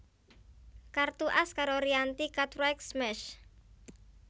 Kartu As karo Rianti Cartwright Smash